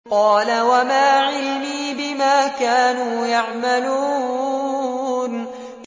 قَالَ وَمَا عِلْمِي بِمَا كَانُوا يَعْمَلُونَ